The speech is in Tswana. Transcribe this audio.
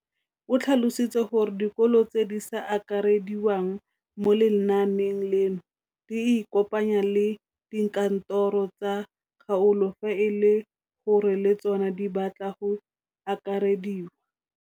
O tlhalositse gore dikolo tse di sa akarediwang mo lenaaneng leno di ikopanye le dikantoro tsa kgaolo fa e le gore le tsona di batla go akarediwa.